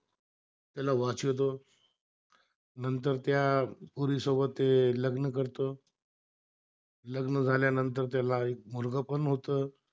पोरी सोबत ते लग्न करतो, लग्न झाल्यानंतर त्याला एक मुलगा पण होतं